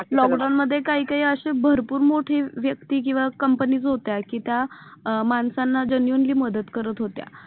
lockdown मध्ये अशे भरपूर मोठी व्यक्ती किंवा companies होत्या कि त्या अं माणसांना genuinely मदत करत होत्या